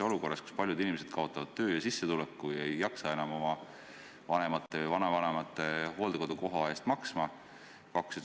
Olukorras, kus paljud inimesed kaotavad töö ja sissetuleku, ei jaksa paljud enam oma vanemate ja vanavanemate hooldekodukoha eest maksta.